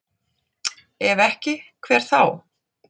Ef ekki, hver þá?